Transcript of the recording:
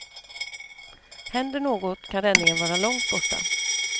Händer något kan räddningen vara långt borta.